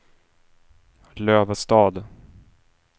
Lövestad